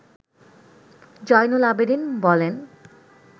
জয়নুল আবেদীন বলেন